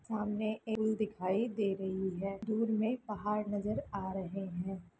सामने दिखाई दे रही है दूर में पहाड़ नजर आ रहे हैं।